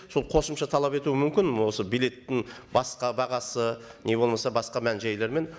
сол қосымша талап етуі мүмкін осы билеттің басқа бағасы не болмаса мән жайлармен